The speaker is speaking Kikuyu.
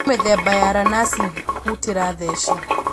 kwĩ mĩthemba ya ranasi hũtĩra theci